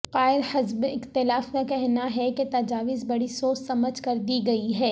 قائد حزب اختلاف کا کہنا ہے کہ تجاویز بڑی سوچ سمجھ کر دی گئی ہیں